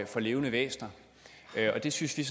for levende væsener og det synes vi